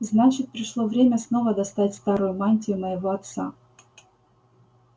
значит пришло время снова достать старую мантию моего отца